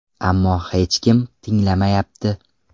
Ammo hech kim tinglamayapti.